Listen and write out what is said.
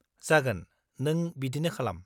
जागोन, नों बिदिनो खालाम।